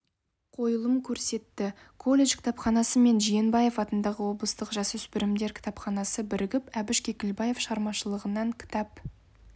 қойылым көрсетті колледж кітапханасы мен жиенбаев атындағы облыстық жасөспірімдер кітапханасы бірігіп әбіш кекілбаев шығармашылығынан кітап